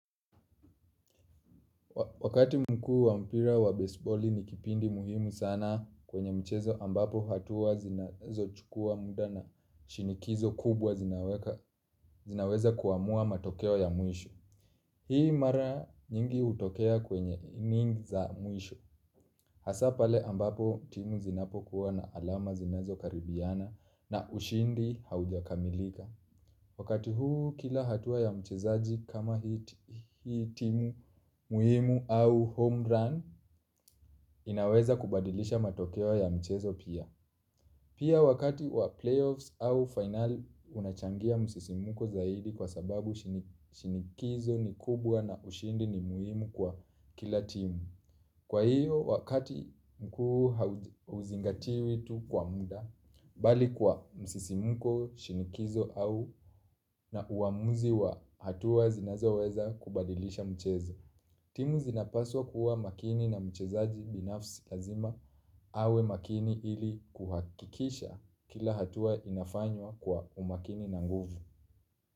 Wakati mkuu wa mpira wa baseballi ni kipindi muhimu sana kwenye mchezo ambapo hatua zinazochukua muda na shinikizo kubwa zinaweka zinaweza kuamua matokeo ya mwisho. Hii mara nyingi hutokea kwenye inning za mwisho. Hasa pale ambapo timu zinapokuwa na alama zinazokaribiana na ushindi haujakamilika. Wakati huu kila hatua ya mchezaji kama hii timu muhimu au home run inaweza kubadilisha matokeo ya mchezo pia. Pia wakati wa playoffs au finali unachangia msisimko zaidi kwa sababu shinikizo ni kubwa na ushindi ni muhimu kwa kila timu. Kwa hiyo, wakati mkuu hauzingatiwi tu kwa muda, bali kwa msisimko, shinikizo au na uamuzi wa hatua zinazoweza kubadilisha mchezo. Timu zinapaswa kuwa makini na mchezaji binafsi lazima, awe makini ili kuhakikisha kila hatua inafanywa kwa umakini na nguvu.